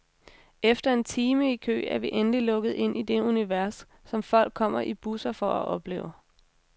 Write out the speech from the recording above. Efter en time i kø er vi endelig lukket ind i det univers, som folk kommer i busser for at opleve.